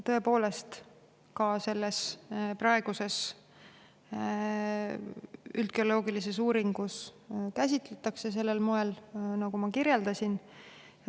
Põhjavee teemat selles praeguses üldgeoloogilises uuringus tõepoolest käsitletakse sellel moel, nagu ma kirjeldasin.